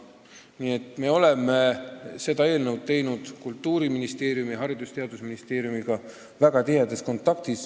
Nii et me oleme seda eelnõu teinud väga tihedas kontaktis Kultuuriministeeriumi ning Haridus- ja Teadusministeeriumiga.